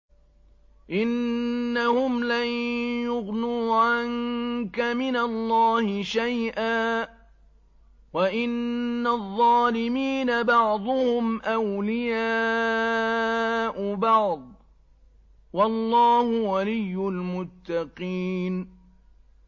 إِنَّهُمْ لَن يُغْنُوا عَنكَ مِنَ اللَّهِ شَيْئًا ۚ وَإِنَّ الظَّالِمِينَ بَعْضُهُمْ أَوْلِيَاءُ بَعْضٍ ۖ وَاللَّهُ وَلِيُّ الْمُتَّقِينَ